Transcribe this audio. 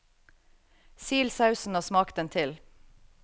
Sil sausen og smak den til.